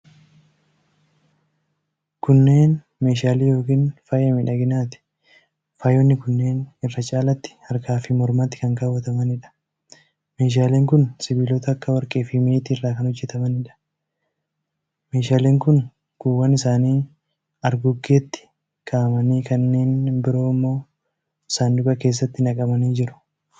Kunneen meeshaalee yookiin faaya miidhaginaati. Faayonni kunneen irra caalatti harkaa fi mormatti kan kaawwatamanidha. meeshaaleen kun sibiilota akka warqii fi meetii irraa kan hojjatamanidha. Meeshaaleen kun kuuwwan isaanii argoggeetti kaa'amanii kanneen biroo ammoo saanduqa isaanitti naqamanii jiru.